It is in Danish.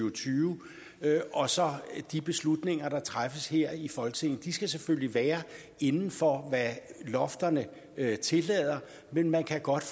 og tyve og så de beslutninger der træffes her i folketinget de skal selvfølgelig være inden for hvad lofterne tillader men man kan godt